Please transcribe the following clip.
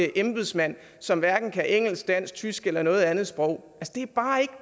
embedsmand som hverken kan engelsk dansk tysk eller noget andet sprog